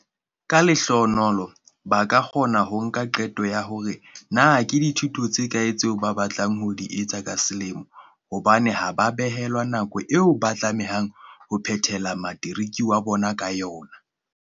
"Ka lehlohonolo, ba ka kgona ho nka qeto ya hore na ke dithuto tse kae tseo ba batlang ho di etsa ka selemo hobane ha ba behelwa nako eo ba tlamehang ho phethela materiki ya bona ka yona."